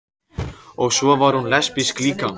Og svo var hún lesbísk líka.